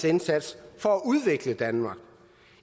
indsats for at udvikle danmark